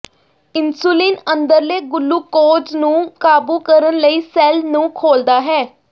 insulin ਅੰਦਰਲੇ glucose ਨੂੰ ਕਾਬੂ ਕਰਨ ਲਈ ਸੈਲ ਨੂੰ ਖੋਲ੍ਹਦਾ ਹੈ